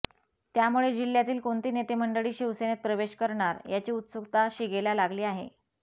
त्यामुळे जिल्हयातील कोणती नेते मंडळी शिवसेनेत प्रवेश करणार याची उत्सुकता शिगेला लागली आहे